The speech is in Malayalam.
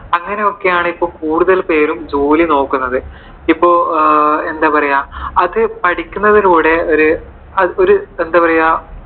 അങ്ങനെയൊക്കെയാണ് ഇപ്പോ കൂടുതൽ പേരും ജോലി നോക്കുന്നത് ഇപ്പോ എന്താ പറയുവാ. അത് പഠിക്കുന്നതിലൂടെ ആഹ് ഒരു ആഹ് എന്താ പറയുവാ